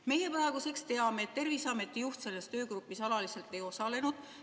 Meie praeguseks teame, et Terviseameti juht selles töögrupis alaliselt ei osalenud.